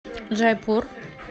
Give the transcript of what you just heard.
джайпур